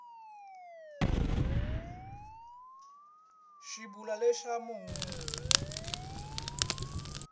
swi vula leswaku munhu u